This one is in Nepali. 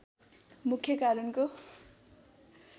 मुख्य कारणको